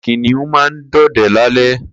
Kiniùn mà n dọdẹ lálẹ̀